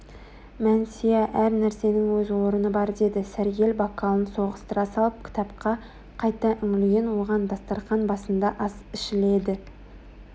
мәнсия әр нәрсенің өз орны бар деді сәргел бокалын соғыстыра салып кітапқа қайта үңілген оған дастарқан басында ас ішіледі